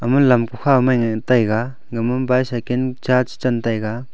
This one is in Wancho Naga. ama lam kukhaw mai ngan taiga gama bycycle cha chen taiga.